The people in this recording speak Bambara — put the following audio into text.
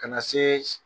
Ka na se